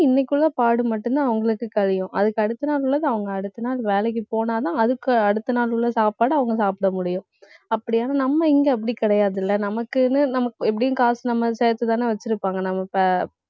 இன்னைக்கு உள்ள பாடு மட்டும்தான் அவங்களுக்கு கழியும். அதுக்கு அடுத்த நாள் உள்ளது அவங்க அது வேலைக்கு போனா தான் அதுக்கு அடுத்த நாள் உள்ள சாப்பாடு அவங்க சாப்பிட முடியும். அப்படியான நம்ம இங்க அப்படி கிடையாதுல நமக்குன்னு நமக்~ எப்படியும் காசு நம்ம சேர்த்துதானே வச்சிருப்பாங்க